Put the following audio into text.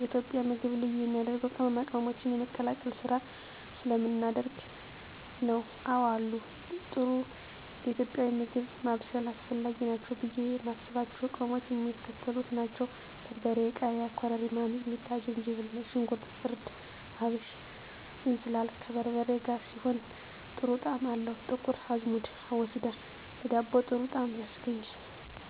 የኢትዮጵያ ምግብ ልዩ የሚያደርገው ቅመማ ቅመሞችን የመቀላቀል ስራ ስለምናደርግ ነው። *አወ አሉ፦ ጥሩ ለኢትዮጵያዊ ምግብ ማብሰል አስፈላጊ ናቸው ብዬ የማስባቸው ቅመሞች የሚከተሉት ናቸው: * በርበሬ *ቃሪያ * ኮረሪማ * ሚጥሚጣ * ዝንጅብል * ነጭ ሽንኩርት * እርድ * አብሽ *እንስላል፦ ከበርበሬ ጋር ሲሆን ጥሩ ጣዕም አለው *ጥቁር አዝሙድ(አቦስዳ)ለዳቦ ጥሩ ጣዕም ያስገኛል።